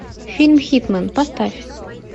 фильм хитмэн поставь